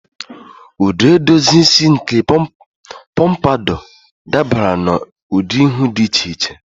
Ụdị edozi isi nke pompadour dabara n'ụdị ihu dị iche iche.